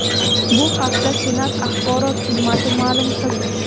Bu haqda Senat Axborot xizmati ma’lum qildi .